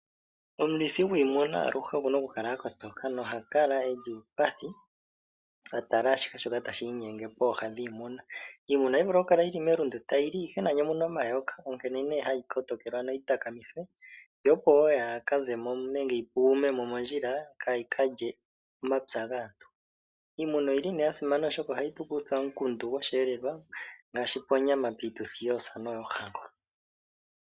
Omulithi gwiimuna aluhe oku na okukala a kotoka noha kala e li uupathi a tala ashihe shoka tashi inyenge pooha dhiimuna. Iimuna ohayi vulu okukala yi li melundu tayi li ihe nani omu na omayoka, onkene hayi kotokelwa noyitakamithwe, yo opo wo yaa ze mo nenge yi pugume mo mondjila kaa yi ka lye omapya gaantu. Iimuna oyi li nee ya simana, oshoka ohayi tu kutha omukundu gosheelelwa ngaashi ponyama yoosa noyoohango.